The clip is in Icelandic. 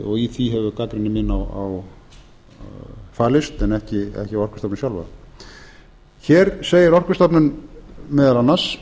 og í því hefur gagnrýni mín falist en ekki á orkustofnun sjálfa hér segir orkustofnun meðal annars